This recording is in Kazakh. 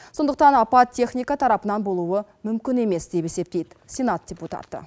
сондықтан апат техника тарапынан болуы мүмкін емес деп есептейді сенат депутаты